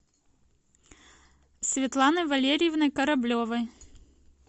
светланой валерьевной кораблевой